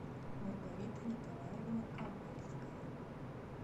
маргарита николаевна ковальская